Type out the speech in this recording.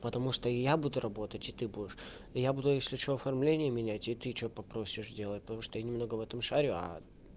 потому что и я буду работать и ты будешь я буду если что оформления менять и ты что попросишь делать потому что я немного в этом шарю